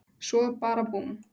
Svo bara búmm.